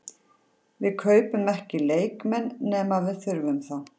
Við kaupum ekki leikmenn nema við þurfum þá.